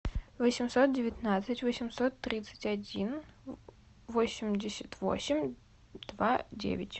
восемьсот девятнадцать восемьсот тридцать один восемьдесят восемь два девять